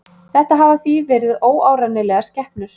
Þetta hafa því verið óárennilegar skepnur.